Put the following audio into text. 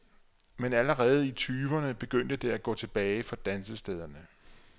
Men allerede i tyverne begyndte det at gå tilbage for dansestederne.